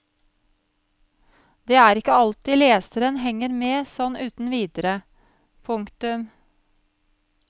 Det er ikke alltid leseren henger med sånn uten videre. punktum